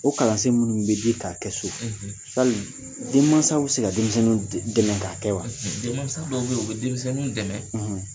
O kalansen munnu bɛ di k'a kɛ so , yali den maasaw be se ka denmisɛnninw dɛmɛ k'a kɛ wa? den maasa dɔw be yen u be denmisɛnninw dɛnɛ